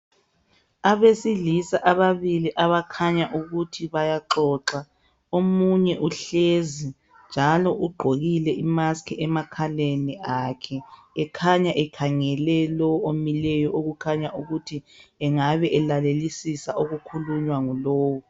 Abesilisa ababili abakhanya ukuthi bayaxoxa. Omunye uhlezi njalo ugqokile i"mask" emakhaleni akhe ekhanya ekhangele lo omileyo kukhanya ukuthi engabe elalelisisa okukhulunywa ngulo.